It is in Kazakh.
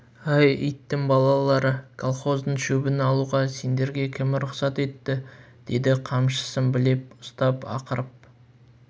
әй иттің балалары колхоздың шөбін алуға сендерге кім рұқсат етті деді қамшысын білеп ұстап ақырып